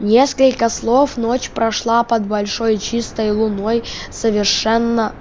несколько слов ночь прошла под большой чистой луной совершенно